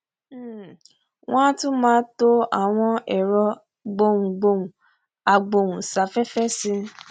um wọn a tún máa to àwọn ẹrọ gboùngboùn agbóùnsáfẹfẹ sí